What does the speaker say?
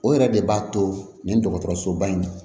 O yɛrɛ de b'a to nin dɔgɔtɔrɔsoba in